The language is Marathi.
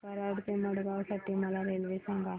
कराड ते मडगाव साठी मला रेल्वे सांगा